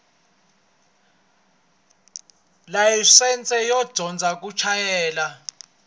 layisense yo dyondza ku chayela